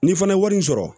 Ni fana ye wari sɔrɔ